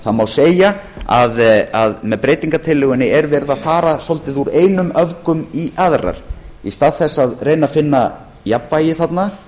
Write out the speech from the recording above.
það má því segja að með breytingartillögunni er verið að fara svolítið úr einum öfgum í aðra í stað þess að reyna að finna jafnvægi þarna